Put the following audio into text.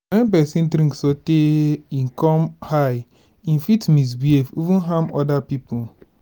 when person drink sotey im come high im fit misbehave even harm oda pipo